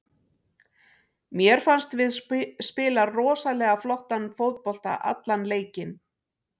Mér fannst við spila rosalega flottan fótbolta allan leikinn.